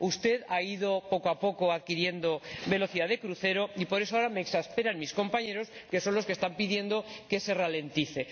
Usted ha ido poco a poco adquiriendo velocidad de crucero y por eso ahora me exasperan mis compañeros, que son quienes están pidiendo que se ralentice.